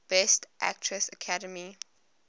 best actress academy